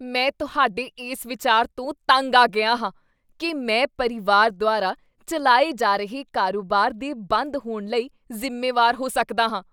ਮੈਂ ਤੁਹਾਡੇ ਇਸ ਵਿਚਾਰ ਤੋਂ ਤੰਗ ਆ ਗਿਆ ਹਾਂ ਕੀ ਮੈਂ ਪਰਿਵਾਰ ਦੁਆਰਾ ਚੱਲਾਏ ਜਾ ਰਹੇ ਕਾਰੋਬਾਰ ਦੇ ਬੰਦ ਹੋਣ ਲਈ ਜ਼ਿੰਮੇਵਾਰ ਹੋ ਸਕਦਾ ਹਾਂ।